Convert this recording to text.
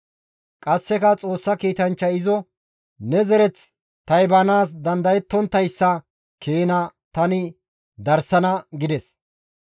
Qasseka Xoossa kiitanchchay izo, «Ne zereth taybanaas dandayettonttayssa keena tani darsana» gides.